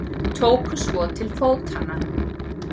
Tóku svo til fótanna.